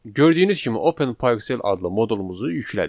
Gördüyünüz kimi Open PyXell adlı moduluzu yüklədik.